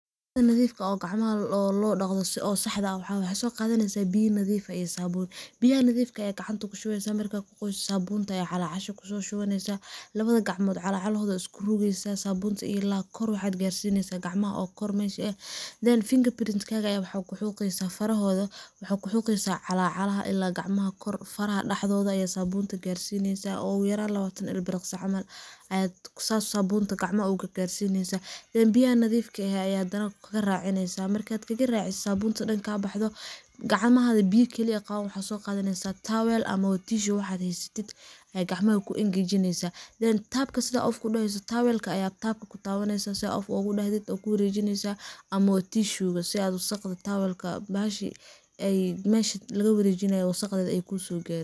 Sii nafka oo gacmaha loo dacdo sii oo saxda waxa waye waxa sogadaneysa biyo nafika ah iyo sabun biyaha nafka ayad gacanta, kushubeysa marka aad kuqoyso sabunta aya calacasha kusoshubaneysa labada gacan calacalo ayad isku rugeysa sabunta ila iyo kor waxad garsineysa gacmaha oo kor mesha, eeh then fingerprint aya waxad kuxoqeysa farahoda, waxad kuxoqeysa calacalaha daxdodha ayad sabunta garsineysa oguyaran labatan il biricsi camal aad sas sabunta gacmaha ogu gargarsineysa, then biyaha nadifka ah aya hadanah kagaracineysa markad kagaraciso sabunta dan kabaxdo gacmaha biyaa keli ah qaban waxad soqadaneysa tawel amabo tissue waxad haysatit, ayad gacmaha kuu engejineysa then tabka sidad of udahayso tawelka ayad tabka kutabaneysa sidhaa of ogudahtit wad kuwarejineysa, ama tishuga sii aad wasaq tisuga mesha lagawarejinay aay kusogarin.